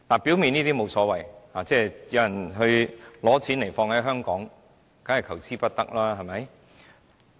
表面上是沒有所謂的，有人來香港投資，當然是求之不得，對嗎？